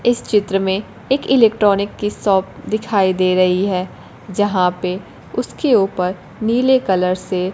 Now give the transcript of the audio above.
इस चित्र में एक इलेक्ट्रॉनिक की शॉप दिखाई दे रही है जहां पे उसके उपर नीले कलर से--